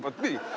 Vaat nii.